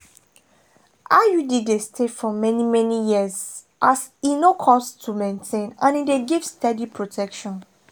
iud dey stay for many-many years as e no cost to maintain and e dey give steady protection.